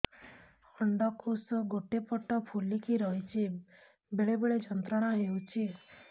ଅଣ୍ଡକୋଷ ଗୋଟେ ପଟ ଫୁଲିକି ରହଛି ବେଳେ ବେଳେ ଯନ୍ତ୍ରଣା ହେଉଛି